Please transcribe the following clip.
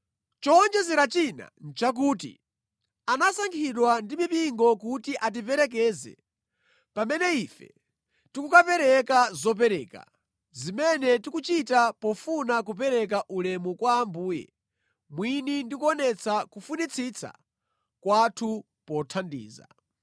Chowonjezera china nʼchakuti anasankhidwa ndi mipingo kuti atiperekeze pamene ife tikukapereka zopereka, zimene tikuchita pofuna kupereka ulemu kwa Ambuye mwini ndi kuonetsa kufunitsitsa kwathu pothandiza.